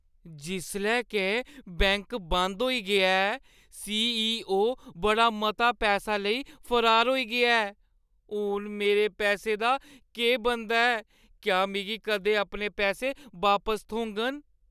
जिसलै के बैंक बंद होई गेआ ऐ ते सी.ई.ओ बड़ा मता पैसा लेई फरार होई गेआ ऐ, हून मेरे पैसे दा केह् बनदा ऐ? क्या मिगी कदें अपने पैसे बापस थ्होङन?